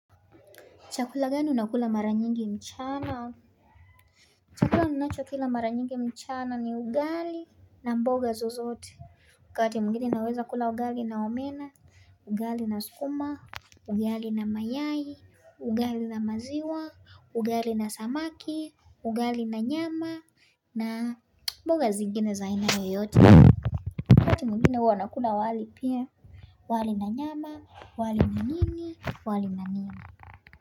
Chakula gani unakula mara nyingi mchana chakula ninacho kila mara nyingi mchana ni ugali na mboga zozote wakati mwinginei naweza kula ugali na omena, ugali na sukuma Ugali na mayai, ugali na maziwa, ugali na samaki, ugali na nyama na mboga zingine za aina yoyote wakati mwingine huwa nakula wali pia wali na nyama, wali na nini,